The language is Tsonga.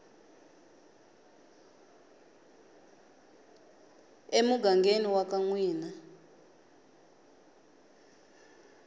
emugangeni wa ka n wina